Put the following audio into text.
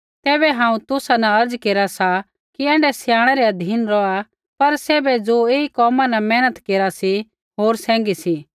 तैबै हांऊँ तुसा न अर्ज़ा केरा सा कि ऐण्ढै स्याणै रै अधीन रौहा पर सैभे ज़ो ऐई कोमा न मेहनत केरा सी होर सैंघी सी